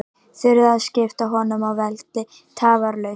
Þurfti að skipta honum af velli tafarlaust.